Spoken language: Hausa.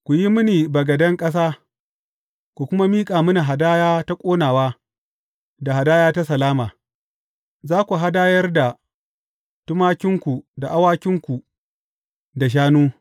Ku yi mini bagaden ƙasa, ku kuma miƙa mini hadaya ta ƙonawa da hadaya ta salama, za ku hadayar da tumakinku da awakinku da shanu.